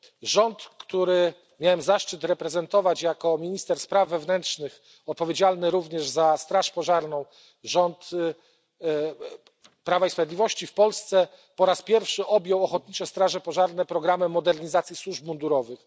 Rząd, który miałem zaszczyt reprezentować jako minister spraw wewnętrznych, odpowiedzialny również za straż pożarną, rząd Prawa i Sprawiedliwości w Polsce po raz pierwszy objął Ochotnicze Straże Pożarne programem modernizacji służb mundurowych.